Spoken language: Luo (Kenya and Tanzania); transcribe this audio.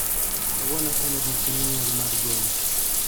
Kawuono en odiechieng' nyuol mar John.